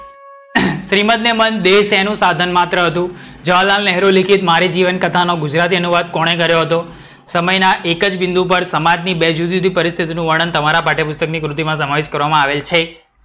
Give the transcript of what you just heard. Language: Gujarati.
શ્રીમદ ને મન બે શેનું સાધન માત્ર હતું? જવાહરલાલ નહેરુ લીખિત મારી જીવનકથાનો અનુવાદ કોણે કર્યો હતો? સમયના એક જ બિંદુ પર સામાની બે જુદીજુદી પરિસ્થિતી નું વર્ણન તમારા પાઠ્યપુસ્તકની કૃતિમાં સમાવીત કરવામાં આવેલ છે.